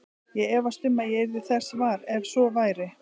Ég efast um að ég yrði þess var, ef svo væri